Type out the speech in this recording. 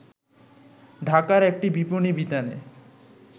ঢাকার একটি বিপণী বিতানে